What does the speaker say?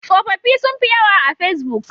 Tsofaffi sun fi yawa a fesbuk.